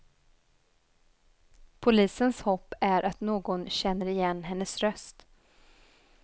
Polisens hopp är att någon känner igen hennes röst.